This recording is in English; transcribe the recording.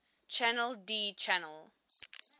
channel d channel